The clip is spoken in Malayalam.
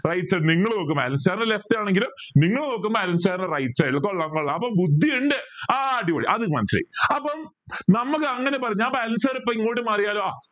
right side നിങ്ങൾ നോക്കുമ്പോ അലെൻ sir ൻ്റെ left ആണെങ്കിലും നിങ്ങൾ നോക്കുമ്പോ അലെൻ sir ൻ്റെ right side അപ്പൊ ബുദ്ധിയുണ്ട് ആ അടിപൊളി അതെനിക്ക് മനസിലായി അപ്പം നമ്മക്ക് അങ്ങനെ ഞാൻ ഇപ്പൊ അനിൽ sir ഇങ്ങോട്ട് മാറിയാൽ